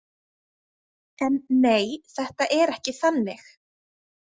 En nei, þetta er ekki þannig.